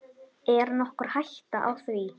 Er nokkur hætta á því?